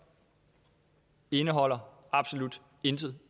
indeholder absolut intet